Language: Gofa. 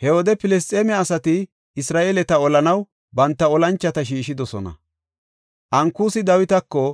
He wode Filisxeeme asati Isra7eeleta olanaw banta olanchota shiishidosona. Ankusi Dawitako,